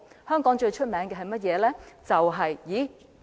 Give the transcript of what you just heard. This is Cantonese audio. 香港最著名的是甚麼？